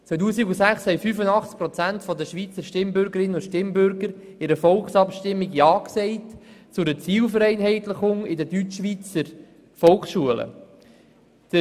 Im Jahr 2006 haben 85 Prozent der Schweizer Stimmbürgerinnen und Stimmbürger in einer Volksabstimmung zu einer Zielvereinheitlichung in den Deutschschweizer Volksschulen Ja gesagt.